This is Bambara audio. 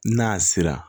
N'a sera